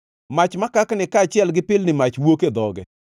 Mach makakni kaachiel gi pilni mach wuok e dhoge.